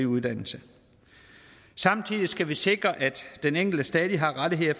uddannelse samtidig skal vi sikre at den enkelte stadig har rettigheder i